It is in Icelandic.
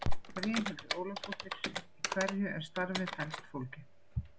Brynhildur Ólafsdóttir: Í hverju er starfið helst fólgið?